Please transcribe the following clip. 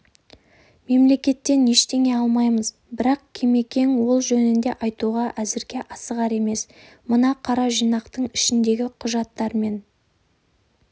мемлекеттен ештеңе алмаймыз бірақ кемекең ол жөнінде айтуға әзірге асығар емес мына қара жинақтың ішіндегі құжаттармен